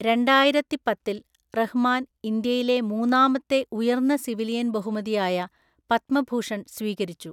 രണ്ടായിരത്തിപ്പത്തില്‍ റഹ്‌മാൻ ഇന്ത്യയിലെ മൂന്നാമത്തെ ഉയർന്ന സിവിലിയൻ ബഹുമതിയായ പത്മഭൂഷൺ സ്വീകരിച്ചു.